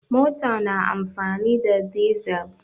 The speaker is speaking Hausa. Mota na amfani da dizal.